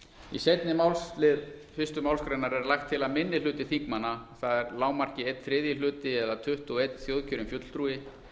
í seinni málslið fyrstu málsgrein er lagt til að minni hluti þingmanna það er að lágmarki einn þriðji hluti eða tuttugu og eitt þjóðkjörinn fulltrúi